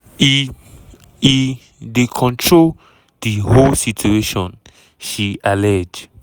"e "e dey control di whole situation" she allege.